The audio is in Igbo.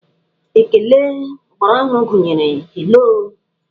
Ékélé ọgbaraọhụrụ gụnyere 'haloo'.